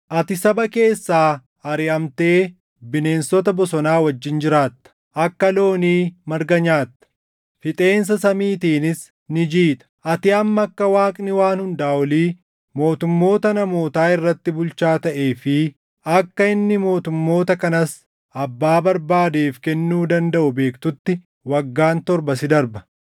Ati saba keessaa ariʼamtee bineensota bosonaa wajjin jiraatta; akka loonii marga nyaatta; fixeensa samiitiinis ni jiita. Ati hamma akka Waaqni Waan Hundaa Olii mootummoota namootaa irratti bulchaa taʼee fi akka inni mootummoota kanas abbaa barbaadeef kennuu dandaʼu beektutti waggaan torba si darba.